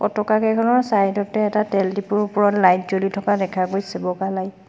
পতকা কেইখনৰ চাইড তে এটা তেল ডিপোৰ ওপৰত লাইট জ্বলি থকা দেখা গৈছে বগা লাইট ।